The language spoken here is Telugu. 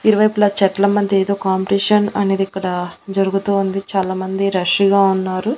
ఇరువైపులా చెట్ల మధ్య ఏదో కాంపిటీషన్ అనేది ఇక్కడ జరుగుతోంది చాలా మంది రష్ గా ఉన్నారు.